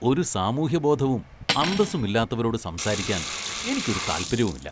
ഒരു സാമൂഹ്യബോധവും അന്തസ്സുമില്ലാത്തവരോട് സംസാരിക്കാന്‍ എനിക്കൊരു താല്‍പര്യവുമില്ല.